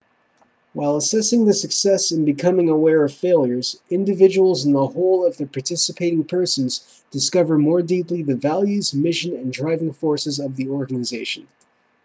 while assessing the successes and becoming aware of failures individuals and the whole of the participating persons discover more deeply the values mission and driving forces of the organization